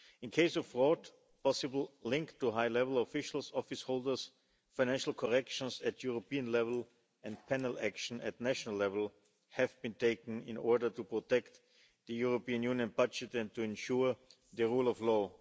In the case of fraud and possible links to high level officials office holders, financial corrections at European level and penal action at national level have been taken in order to protect the European Union budget and to ensure the rule of law.